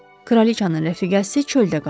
Kraliçanın rəfiqəsi çöldə qaldı.